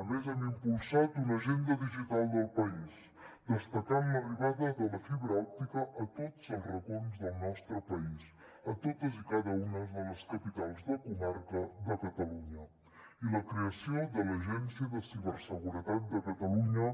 a més hem impulsat una agenda digital del país destacant l’arribada de la fibra òptica a tots els racons del nostre país a totes i cada una de les capitals de comarca de catalunya i la creació de l’agència de ciberseguretat de catalunya